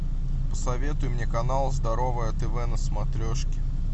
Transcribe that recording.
посоветуй мне канал здоровое тв на смотрешке